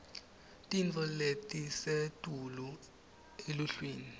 tintfo letisetulu eluhlwini